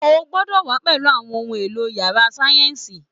O gbọ́dọ̀ wà á pẹ̀lú àwọn ohun èlò yàrá sáyẹ́ǹsì